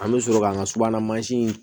An bɛ sɔrɔ k'an ka subahana mansin